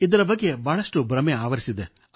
ಇದರ ಬಗ್ಗೆ ಬಹಳಷ್ಟು ಭ್ರಮೆ ಆವರಿಸಿದೆ